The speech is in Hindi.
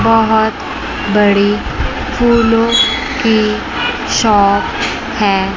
बहोत बड़ी फूलों की शॉप है।